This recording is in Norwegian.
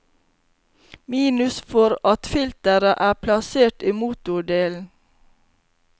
Minus for at filteret er plassert i motordelen.